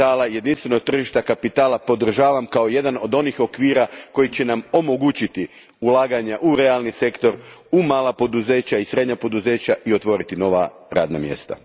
jedinstvenog tržišta kapitala podržavam kao jedan od onih okvira koji će nam omogućiti ulaganja u realni sektor, u mala i srednja poduzeća, i otvoriti nova radna mjesta.